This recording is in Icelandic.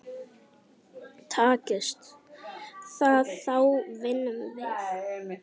Takist það þá vinnum við.